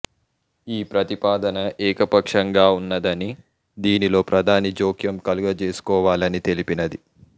ఈ ప్రతిపాదన ఏకపక్షంగా ఉన్నదని దీనిలో ప్రధాని జోక్యం కలుగజేసుకోవాలని తెలిపినది